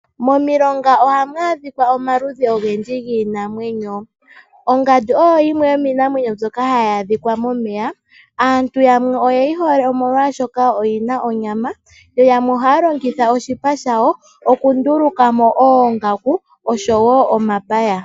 Momilonga ohamu adhika omaludhi ogendji giinamwenyo. Ongandu oyo yimwe yomiinamwenyo mbyoka hayi adhika momeya. Aantu yamwe oye yi hole, molwashoka oyi na onyama, yo yamwe ohaya longitha oshipa shawo okunduluka mo oongaku oshowo omapaya.